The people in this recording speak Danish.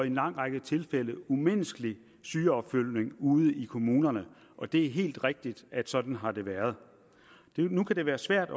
en lang række tilfælde umenneskelig sygeopfølgning ude i kommunerne og det er helt rigtigt at sådan har det været nu kan det være svært